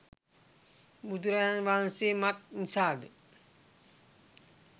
බුදුරජාණන් වහන්සේ මක් නිසාද